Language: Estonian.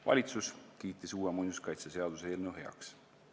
Valitsus on uue muinsuskaitseseaduse eelnõu heaks kiitnud.